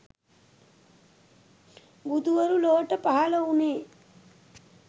බුදුවරු ලොවට පහළ වුණේ